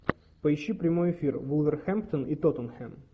поищи прямой эфир вулверхэмптон и тоттенхэм